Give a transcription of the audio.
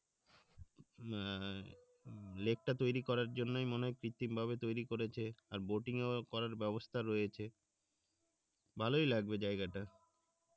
আহ লেকটা তৈরি করার জন্যই মনে হয় কৃত্রিম ভাবে তৈরি করেছে আর করার ব্যাবস্থা রয়েছে ভালোই লাগবে জায়গাটা